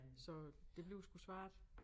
Så det bliver sgu svært